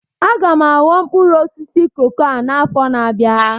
Aga m aghọ mkpụrụ osisi koko a n'afọ na-abịa